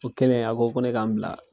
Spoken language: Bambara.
O kɛlen a ko ne k'a n bila.